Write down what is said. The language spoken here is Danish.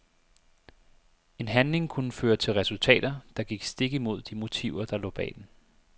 En handling kunne føre til resultater, der gik stik imod de motiver der lå bag den.